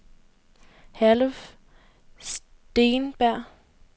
Herluf Steenberg